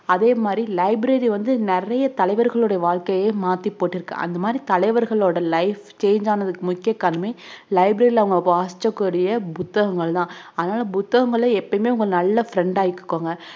அதே மாதிரி library வந்து நிறைய தலைவர்களுடைய வாழ்க்கையே மாத்தி போட்டிருக்கு அந்த மாதிரி தலைவர்களோட life change ஆனதுக்கு முக்கிய காரணமே library ல அவங்க வாசிச்ச கூடிய புத்தகங்கள் தான் அதனால புத்தகங்களை எப்பயுமே உங்க நல்ல friend ஆ ஆக்கிகோங்க